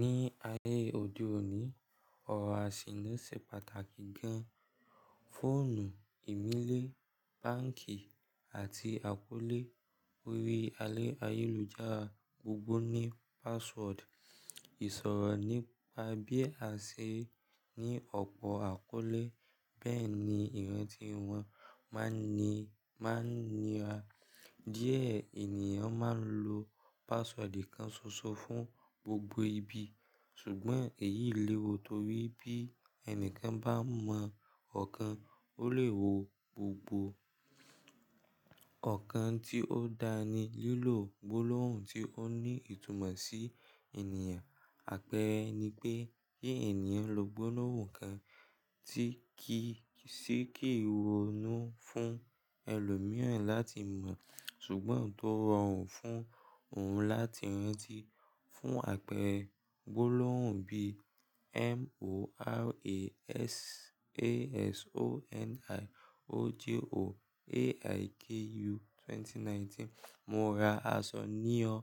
Ní ayé òde òní, ọ̀rọ̀ àṣìni se pàtàkì gan-an. Fóònù, ìmílẹ̀, báǹkì àti àkọ́lé. Orí ayélujára gbogbo ní password. Ìṣòro nípa bí a ṣe ní ọ̀pọ̀ àkọ́lé, bẹ́ẹ̀ ni ìrántí wọn máa ń ní, máa ń níra. Díẹ̀ ènìyàn máa ń lo password kan ṣoṣo fún gbogbo ibi. Ṣùgbọ́n èyí léwu torí bí ẹni kan bá mọ ọ̀kan, ó lè wo gbogbo. Ọ̀kan tí ó dáa ni lílò gbólóhùn tí ó ní ìtumọ̀ sí ènìyàn. Àpẹẹrẹ ni pé kí ènìyàn lo gbólóhùn kan tí kì í sì kí ronú fún ẹlòmíràn láti mọ̀, ṣùgbọ́n tó rọrùn fún òun láti rántí. Fún àpẹẹrẹ gbólóhùn bíí morasasoniojoaiku2019, "mo ra aṣọ ní ọ,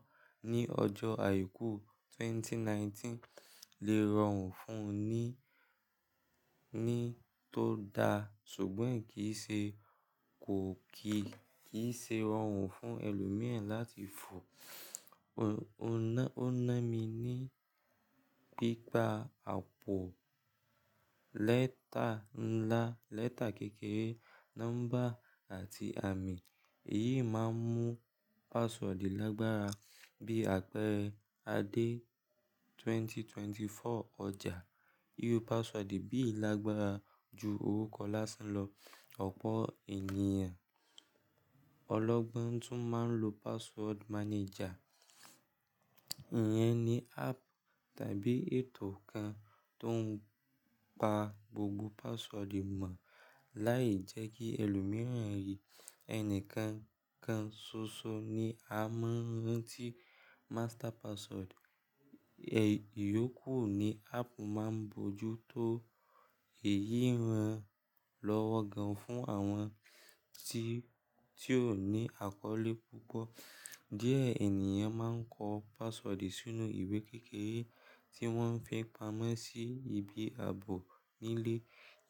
ní ọjọ́ àìkú ẹgbẹ̀rún méjì ó lé mọ́kàndínlógún" lè rọrùn fún ni, ni tó dá, ṣùgbọ́n kì í ṣe, kò kì í ṣe rọrùn fún ẹlòmíràn láti fọ. O ná, o ná mi ní pípa àpò lẹ́tà ńlá, lẹ́tà kékeré, nọ́mbà àti àmì. Èyí máa ń mú password lágbára. Bí àpẹẹrẹ ade2024ọjà. Íru password bí ì lágbára ju orúkọ lásán lọ. Ọ̀pọ̀ ènìyàn, ọlọ́gbọ́n tún máa ń lo password manager. Ìyẹn ni app tàbí ètò kan tó ń pa gbogbo password mọ̀ láì jẹ́ kí ẹlòmíràn rí. Ẹni kan kan ṣoṣo ni a máa ń rántí master password. Ìyókù ni app máa ń bojú tó èyí ran lọ́wọ́ gan-an fún àwọn tí, tí ò ní àkọ́lé púpọ̀. Díẹ̀ ènìyàn máa ń kọ password sínú ìwé kékeré tí wọ́n fi pamọ́ sí ibi ààbò nílé.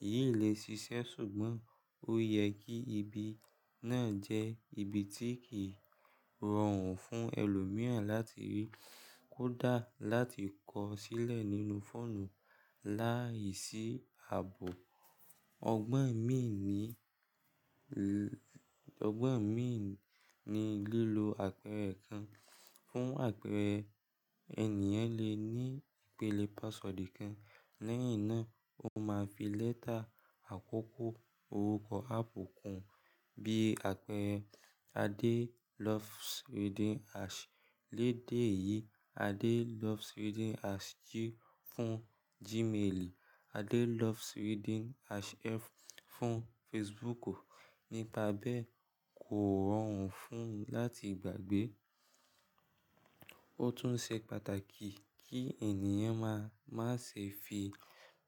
Èyí lè ṣiṣẹ́ ṣùgbọ́n ó yẹ kí ibi náà jẹ́ ibi tí kìí rọrùn fún ẹlòmíràn láti rí. Kó dà láti kọ sílẹ̀ nínú fóònù láìsí ààbò. Ọgbọ́n míì ní, ọgbọ́n míì ni lílò àpẹẹrẹ kan. Fún àpẹẹrẹ, ènìyàn lè ní ìpele password kan lẹ́yìn náà ó máa fi lẹ́tà àkọ́kọ́ orúkọ app kùn. Bí àpẹẹrẹ adeLovesReading@. Lẹ́ẹ̀dẹ́ yìí adeLovesReading@g fún Gmail, adeLovesReading@f fún Facebook. Nípa bẹ́ẹ̀ kò rọrùn fún láti gbàgbé. Ó tún ṣe pàtàkì kí ènìyàn má, má ṣe fi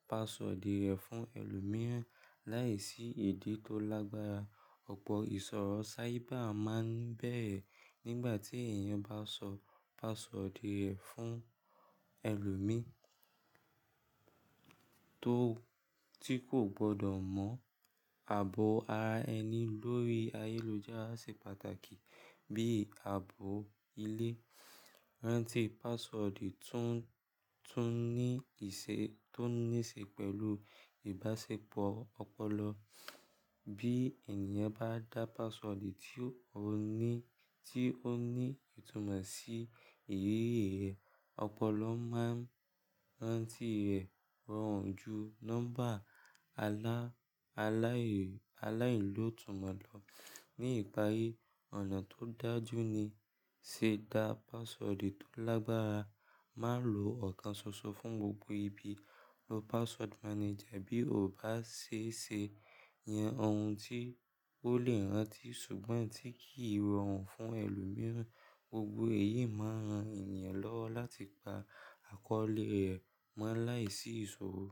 password rẹ̀ fún ẹlòmíràn láìsí idi tó lágbára. Ọ̀pọ̀ ìṣòro cyber máa ń bẹ́ẹ̀re nígbà tí ènìyàn bá sọ password rẹ̀ fún ẹlòmíràn tó, tí kò gbọdọ̀ mọ̀. Ààbò ara ẹni lórí ayélujára ṣe pàtàkì. Bí ààbò ilé. Rántí password tún, tún ní ìṣe, tó ní ìṣe pẹ̀lú ìbáṣepọ̀ ọpọlọ. Bí ènìyàn bá dá password tí ó ní, tí ó ní ìtumọ̀ sí èyí rẹ̀, ọpọlọ máa ń rántí rẹ̀ rọrùn ju nọ́mbà alá, aláì, aláìní lótumọ̀ lọ. Ní ìparí, ọ̀nà tó dájú ní ṣe dá password tó lágbára. Má lo ọ̀kan ṣoṣo fún gbogbo ibi. Lo password manager bí o bá ṣe ṣe. Yan ohun tí ó lè rántí ṣùgbọ́n tí kìí rọrùn fún ẹlòmíràn. Gbogbo èyí máa ran ènìyàn lọ́wọ́ láti pa àkọ́lé rẹ̀ mọ́ láìsí ìṣòro.